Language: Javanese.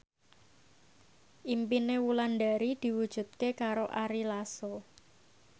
impine Wulandari diwujudke karo Ari Lasso